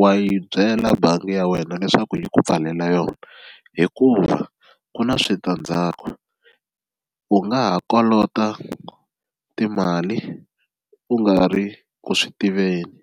wa yi byela bangi ya wena leswaku yi ku pfalela yona hikuva ku na switandzhaku u nga ha kolota timali u nga ri ku swi tiveni.